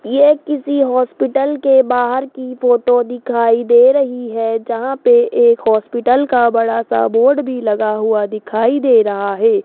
ये किसी हॉस्पिटल के बाहर की फोटो दिखाई दे रही है जहां पे एक हॉस्पिटल का बड़ा सा बोर्ड भी लगा हुआ दिखाई दे रहा है।